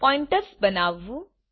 pointers બનાવવું